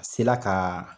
A se la ka